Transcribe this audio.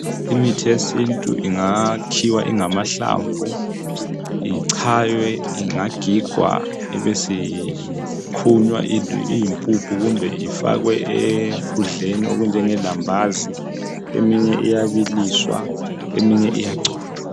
Imithi yesintu ingakhiwa ingamahlamvu ichaywe ingagigwa ibisikhunywa iyimpuphu kumbe ifakwe ekudleni okunjenge lambazi eminye iyabiliswa eminye iyagcotshwa.